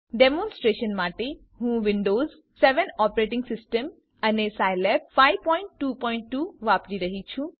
demonstration માટે હું Windows ૭ operating system અને સાયલેબ ૫૨૨ વાપરી રહ્યી છું